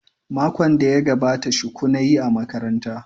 Makon da ya gabata shuku na yi a makaranta.